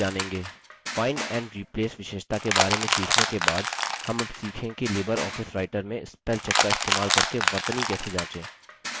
find and replace विशेषता के बारे में सीखने के बाद हम अब सीखेंगे कि libreoffice writer में spellcheck का इस्तेमाल करके वर्तनी कैसे जाँचे